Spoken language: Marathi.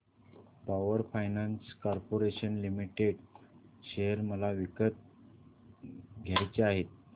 power finance corporation limited share मला विकत घ्यायचे आहेत